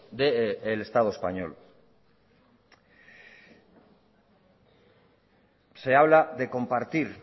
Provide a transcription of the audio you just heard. del estado español se habla de compartir